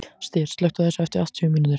Styr, slökktu á þessu eftir áttatíu mínútur.